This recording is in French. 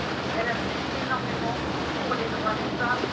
Elle a aussi fait énormément pour les droits des femmes.